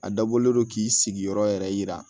A dabɔlen don k'i sigiyɔrɔ yɛrɛ yira